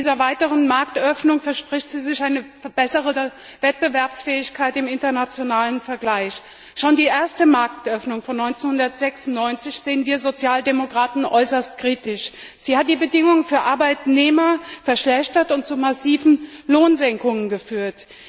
Von dieser weiteren Marktöffnung verspricht sie sich eine bessere Wettbewerbsfähigkeit im internationalen Vergleich. Schon die erste Marktöffnung von 1996 sahen wir Sozialdemokraten äußerst kritisch. Sie hat die Bedingungen für Arbeitnehmer verschlechtert und zu massiven Lohnsenkungen geführt.